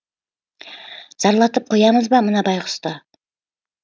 зарлатып қоямыз ба мына байқұсты